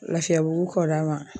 Lafiyabugu kɔ d'a ma.